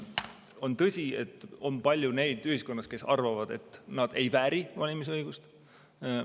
On tõsi, et ühiskonnas on palju neid, kes arvavad, et ei vääri valimisõigust.